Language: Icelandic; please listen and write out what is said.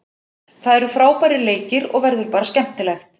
Það eru frábærir leikir og verður bara skemmtilegt.